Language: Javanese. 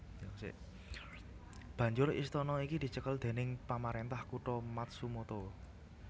Banjur istana iki dicekel déning pamarentah kutha Matsumoto